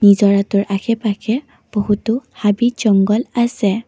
নিজৰাটোৰ আশে-পাশে বহুতো হাবি-জঙ্ঘল আছে।